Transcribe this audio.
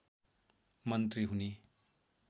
मन्त्री हुने